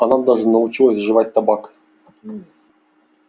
она даже научился жевать табак